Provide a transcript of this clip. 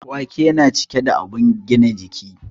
Wake na cike da abun gina kiji